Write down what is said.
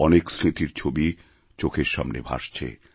অনেক স্মৃতির ছবি চোখের সামনে ভাসছে